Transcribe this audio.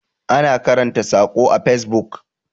ana karanta sako a fesbuk